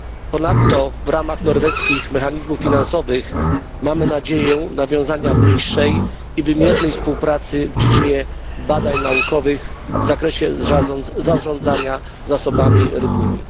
Ponadto w ramach norweskich mechanizmów finansowych mamy nadzieję nawiązania bliższej i wymiernej współpracy w dziedzinie badań naukowych w zakresie zarządzania zasobami rybnymi.